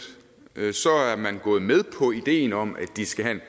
er man gået med på ideen om at de skal have